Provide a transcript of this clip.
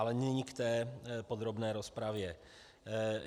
Ale nyní k té podrobné rozpravě.